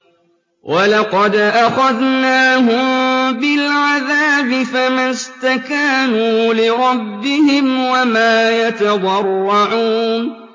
وَلَقَدْ أَخَذْنَاهُم بِالْعَذَابِ فَمَا اسْتَكَانُوا لِرَبِّهِمْ وَمَا يَتَضَرَّعُونَ